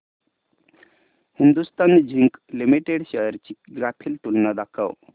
Hindustan zinc limited shares ची graphical तुलना दाखव